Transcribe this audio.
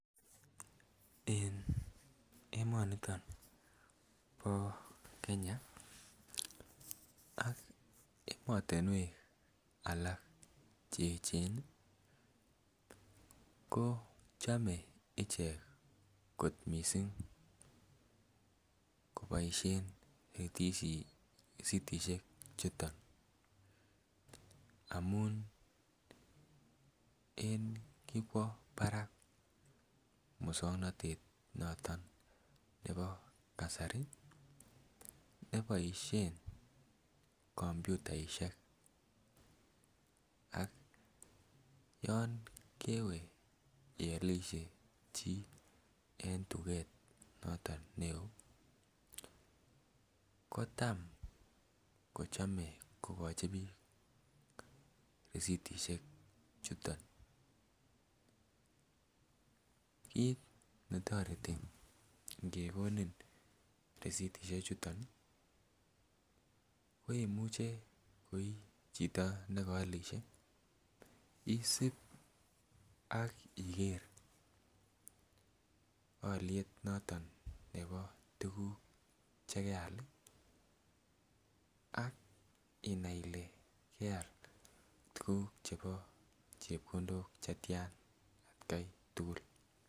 En emoniton bo Kenya ak emotunwek alak cheyechen kot missing koboishen risitishek chuto amun kikwo barak muswoknotet noton nebo kasari neboishen kompunishek ak yon kewee iolishe chii en tuket noton neo kotam kochome kokochi bik risitishek chuto. Kit netoreti ngekoni risitishek chuton koimuche kotichito nekoolishe isib ak iker oliet noton nebo tukuk chekeal ak inai Ile keal tukuk chebo chepkondok chetyan en atgai tukul.